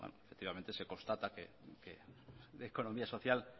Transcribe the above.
efectivamente se constata que de economía social